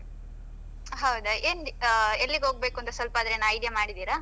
ಹೌದಾ ಏನ್ ಆ ಎಲ್ಲಿಗ್ ಹೋಗ್ಬೇಕಂತ ಸ್ವಲ್ಪಾನು ಏನಾದ್ರು idea ಮಾಡಿದ್ದೀರಾ?